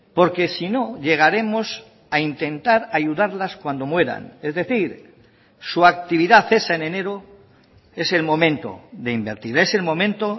porque si no llegaremos a intentar ayudarlas cuando mueran es decir su actividad es en enero es el momento de invertir es el momento